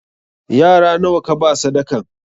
Yara nawa kaba sadakan?